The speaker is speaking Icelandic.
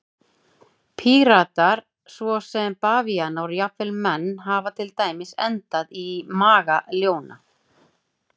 Prímatar svo sem bavíanar og jafnvel menn hafa til dæmis endað í maga ljóna.